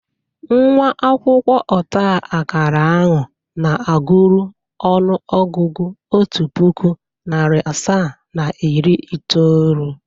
Nwa akwụkwọ ọtaakara ahụ na-agụrụ ọnụ ọgụgụ otu pụkụ, narị asaa na iri itoolu.